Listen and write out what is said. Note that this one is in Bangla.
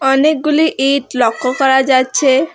অনেকগুলি ইট লক্ষ্য করা যাচ্ছে।